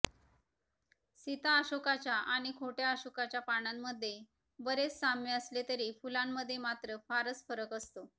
सीता अशोकाच्या आणि खोट्या अशोकाच्या पानांमध्ये बरेच साम्य असले तरी फुलांमध्ये मात्र फारच फरक असतो